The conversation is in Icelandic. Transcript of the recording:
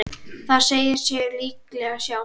Það segir sig líklega sjálft.